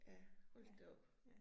Ja, hold da op